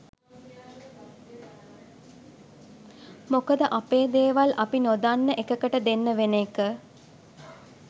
මොකද අපේ දේවල් අපි නොදන්න එකකට දෙන්න වෙන එක.